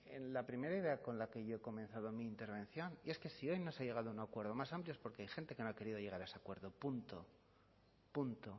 en la primera idea con la que yo he comenzado mi intervención y es que si hoy no se ha llegado a un acuerdo más amplio es porque hay gente que no ha querido llegar a ese acuerdo punto punto